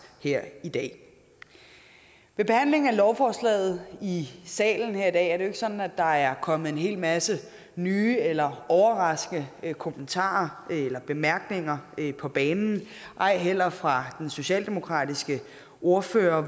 her i dag med behandlingen af lovforslaget i salen her i dag er det jo ikke sådan at der er kommet en hel masse nye eller overraskende kommentarer og bemærkninger på banen ej heller fra den socialdemokratiske ordfører